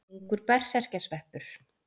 Ungur berserkjasveppur.